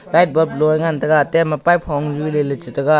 light bub loa ngantaga tem hongju leyley chu ngantaga.